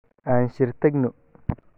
Aan shir tagno.